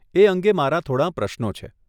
એ અંગે મારા થોડાં પ્રશ્નો છે.